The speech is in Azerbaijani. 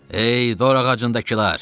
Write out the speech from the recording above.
Ey dorağacındakılar!